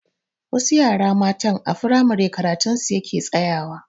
Wasu yara matan a firamare karatun su yake tsayawa.